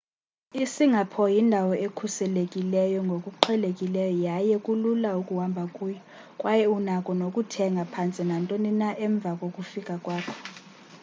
isingapore yindawo ekhuselekileyo ngokuqhelekileyo yaye kulula ukuhamba kuyo kwaye unako nokuthenga phantse nantoni na emva kokufika kwakho